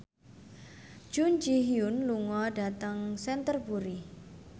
Jun Ji Hyun lunga dhateng Canterbury